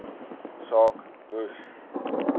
saak moes